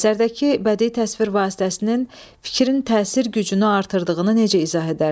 Əsərdəki bədii təsvir vasitəsinin fikrin təsir gücünü artırdığını necə izah edərsiz?